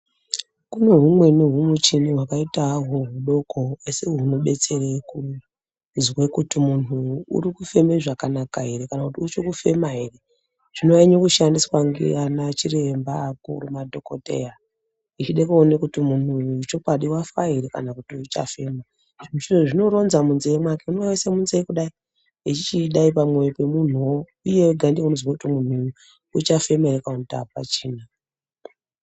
Kune humweni humuchini hwakaita ahwo hudoko asi hunobetsere kuzwe kuti muntu uri kufeme zvakanaka ere kana kuti uchafema ere zvinonyanya kushandiswa nganachiremba akuru madhokodheya echida kuona kuti muntu uyu chokwadi wafa ere kana kuti uchafema zvinoronza munzee mwake ukatoona aisa munzee kudai echichdai pamwoyo pemuntuwo iye ega ndiye unozwe kuti muntu uyu uchafema ere kana kuti apachina.